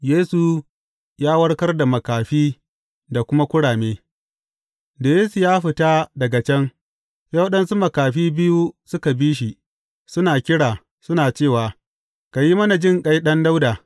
Yesu ya warkar da makafi da kuma kurame Da Yesu ya fita daga can, sai waɗansu makafi biyu suka bi shi, suna kira, suna cewa, Ka yi mana jinƙai, Ɗan Dawuda!